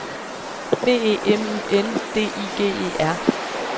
B E M Y N D I G E R